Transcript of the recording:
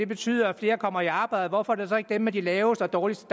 betyder at flere kommer i arbejde hvorfor er det så ikke dem med de laveste og dårligste